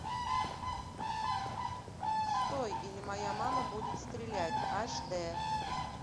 стой или моя мама будет стрелять аш д